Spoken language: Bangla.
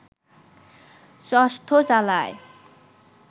চষ্টো চালায়